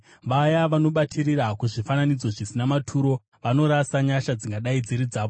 “Vaya vanobatirira kuzvifananidzo zvisina maturo, vanorasa nyasha dzingadai dziri dzavo.